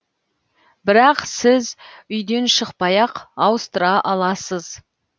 бірақ сіз үйден шықпай ақ ауыстыра аласыз